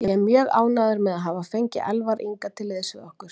Ég er mjög ánægður með að hafa fengið Elvar Inga til liðs við okkur.